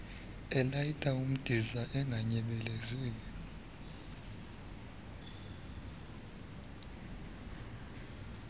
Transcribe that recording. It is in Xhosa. elayita umdiza unganyebelezeli